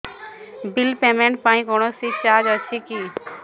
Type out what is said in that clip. bill payment ପାଇଁ କୌଣସି charge ଅଛି କି